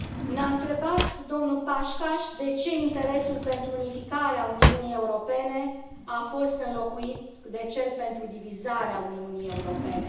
Ne a întrebat domnul Paksas de ce interesul pentru unificarea Uniunii Europene a fost înlocuit de cel pentru divizarea Uniunii Europene.